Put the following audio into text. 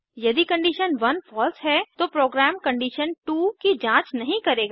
यदि condition 1 false है तो प्रोग्राम कंडीशन2 की जांच नहीं करेगा